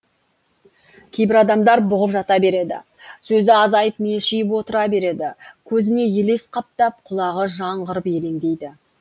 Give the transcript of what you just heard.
кейбір адамдар бұғып жата береді сөзі азайып мелшиіп отыра береді көзіне елес қаптап құлағы жаңғырып елеңдейді